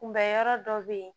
Kunbɛ yɔrɔ dɔ bɛ yen